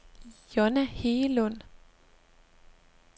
Johnna Hegelund